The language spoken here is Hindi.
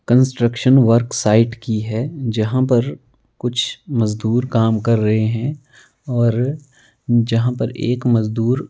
कंस्ट्रक्शन वर्क साइट की है जहां पर कुछ मजदूर काम कर रहे हैं और जहां पर एक मजदूर--